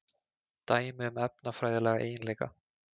Dæmi um efnafræðilega eiginleika.